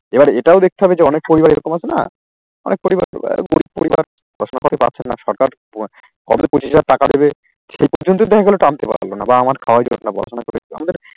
এবার এটাও দেখতে হবে যে অনেক পরিবার এরকম আছে না অনেক পরিবার দেব পরিবার প্রশ্ন করতে পারছেন না সরকার কবে পঁচিশ হাজার টাকা দেবে সেই পর্যন্তই দেখা গেল টানতে পারলো না বা আমার খাবার পরাশুনা করবে